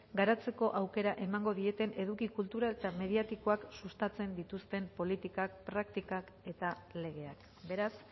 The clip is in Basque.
garatzeko aukera emango dieten eduki kultural eta mediatikoak sustatzen dituzten politikak praktikak eta legeak beraz